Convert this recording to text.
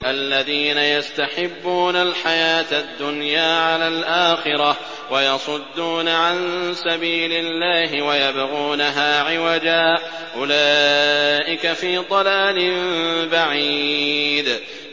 الَّذِينَ يَسْتَحِبُّونَ الْحَيَاةَ الدُّنْيَا عَلَى الْآخِرَةِ وَيَصُدُّونَ عَن سَبِيلِ اللَّهِ وَيَبْغُونَهَا عِوَجًا ۚ أُولَٰئِكَ فِي ضَلَالٍ بَعِيدٍ